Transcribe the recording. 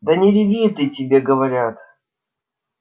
да не реви ты тебе говорят